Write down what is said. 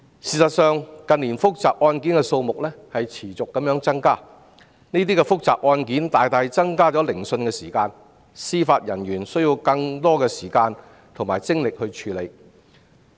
事實上，近年複雜案件的數目持續地增加，這些複雜案件大大增加聆訊的時間，司法人員需要花更長時間及更多精力來處理這些案件。